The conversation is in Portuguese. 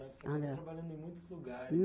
Você foi trabalhando em muitos lugares.